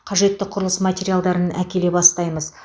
қажеті құрылыс материалдарын әкеле бастаймыз